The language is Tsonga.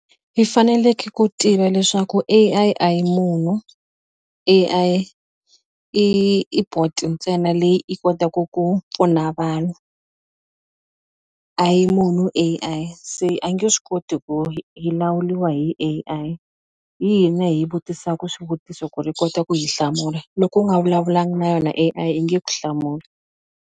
I faneleke ku tiva leswaku A_I a hi munhu A_I i i bot ntsena leyi i kotaku ku pfuna vanhu a yi munhu A_I se a yi nge swi koti ku hi lawurliwa hi A_I hi hina hi yi vutisaku swivutiso ku ri yi kota ku hi hlamula loko u nga vulavulanga na yona A_I yi nge ku hlamuli.